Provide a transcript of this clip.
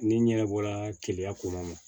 Ni n yɛrɛ bɔra keleya kɔnɔ